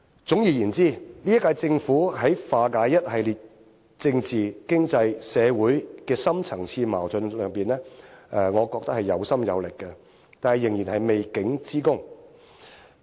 總而言之，這一屆政府在化解一系列政治、經濟、社會的深層次矛盾上面，我覺得是有心有力的，但仍然有未竟之功。